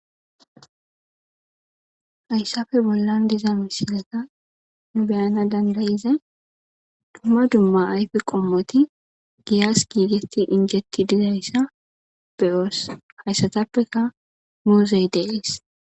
Hayssappe bollan diza misilezan nu be'ana danda'izay dumma dumma ayfe qommoti giyas giiggeti injjetti dizayssa be'os hayssatappeka muuzey de'es.